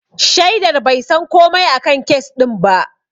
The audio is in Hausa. Shaidar bai san komai a kan kes ɗin ba.